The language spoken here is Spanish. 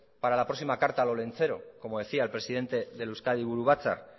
para la próxima carta al olentzero como decía el presidente del euzkadi buru batzar